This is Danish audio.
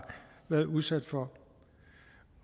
været udsat for